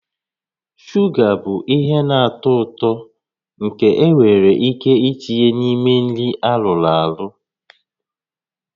Shuga bụ ihe na-atọ ụtọ nke enwere ike itinye n'ime nri arụrụ arụ